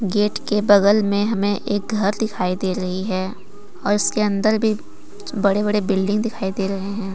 Gate के बगल में हमे एक घर दिखाई दे रही है और उसके अंदर भी बड़े बड़े बिल्डिंग दिखाई दे रहे हैं।